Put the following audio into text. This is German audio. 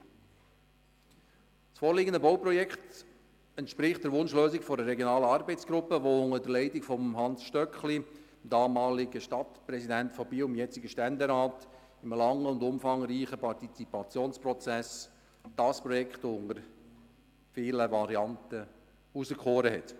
Das vorliegende Bauprojekt entspricht der Wunschlösung der Regionalen Arbeitsgruppe, die unter der Leitung von Hans Stöckli, dem damaligen Stadtpräsidenten von Biel, jetzt Ständerat, in einem langen und umfangreichen Partizipationsprozess dieses Projekt unter vielen Varianten auserkoren hat.